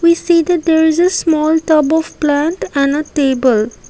we see the there is a small top of plant on a table.